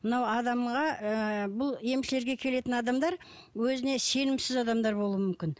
мынау адамға ы бұл емшілерге келетін адамдар өзіне сенімсіз адамдар болуы мүмкін